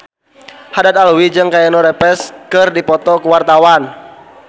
Haddad Alwi jeung Keanu Reeves keur dipoto ku wartawan